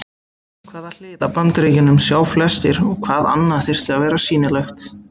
Hvaða hlið af Bandaríkjunum sjá flestir og hvað annað þyrfti að vera sýnilegt?